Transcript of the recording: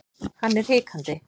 Hann er hikandi.